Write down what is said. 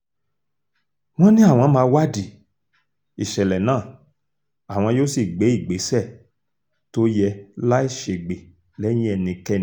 wọ́n ní àwọn máa wádìí ìṣẹ̀lẹ̀ náà àwọn yóò sì gbé ìgbésẹ̀ tó yẹ láì ṣègbè lẹ́yìn ẹnikẹ́ni